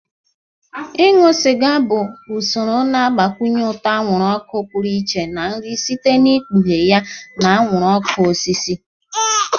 Ịṅụ sịga bụ usoro na-agbakwụnye ụtọ anwụrụ ọkụ pụrụ iche na nri site n'ikpughe ya na anwụrụ ọkụ osisi.